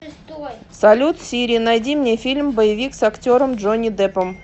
салют сири найди мне фильм боевик с актером джонни деппом